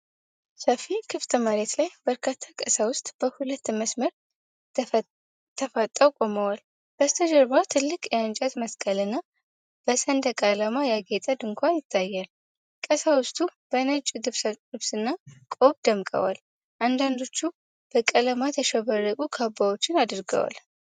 በሰፊ ክፍት መሬት ላይ በርካታ ቀሳውስት በሁለት መስመር ተፋጠው ቆመዋል። በስተጀርባ ትልቅ የእንጨት መስቀልና በሰንደቅ ዓላማ ያጌጠ ድንኳን ይታያል። ቀሳውስቱ በነጭ ልብስና ቆብ ደምቀዋል፤ አንዳንዶቹ በቀለማት ያሸበረቁ ካባዎችን አድርገዋል።